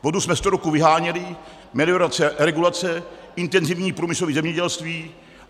Vodu jsme sto roků vyháněli, meliorace, regulace, intenzivní průmyslové zemědělství.